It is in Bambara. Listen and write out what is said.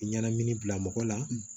Ɲanamini bila mɔgɔ la